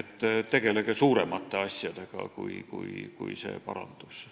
et tegelege suuremate asjadega kui see parandus.